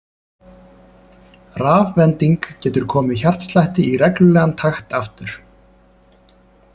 Rafvending getur komið hjartslætti í reglulegan takt aftur.